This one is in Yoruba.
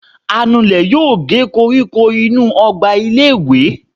anulè yóò gé kóríkó inú ogba ilé ìwé.